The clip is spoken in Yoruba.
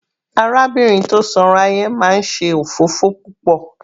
Arábìnrin tó sanra yẹn máa ń ṣe òfófó púpọ̀.